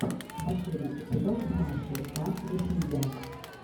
последний эпизод маши та ведмидя